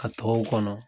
Ka tɔw kɔnɔ